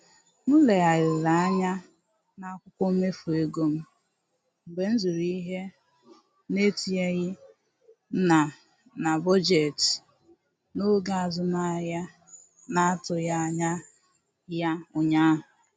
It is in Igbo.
M legharịrị anya n'akwụkwọ mmefu ego m mgbe m zụrụ ihe na-etinyeghị na na bọjetị n'oge azụmahịa na-atụghị anya ya ụnyaahụ